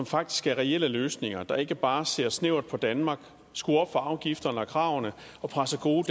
faktisk er reelle løsninger og ikke bare ser snævert på danmark skruer op for afgifterne og kravene og presser gode